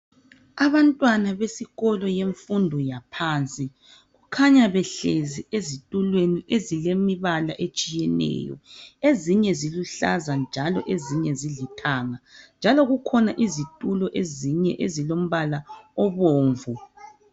Abantwana besikolo yemfundo yaphansi. Kukhanya behlezi ezitulweni ezilemibala etshiyeneyo, ezinye zilluhlaza njalo ezinye zilithanga. Njalo kukhona izitulo ezinye ezilombala obomvu.